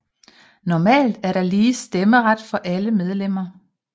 Normalt er der lige stemmeret for alle medlemmer